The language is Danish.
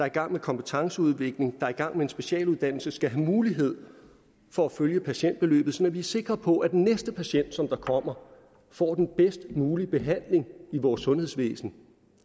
i gang med kompetenceudvikling der er i gang med en specialuddannelse skal have mulighed for at følge patientforløbet sådan at sikre på at næste patient der kommer får den bedst mulige behandling i vores sundhedsvæsen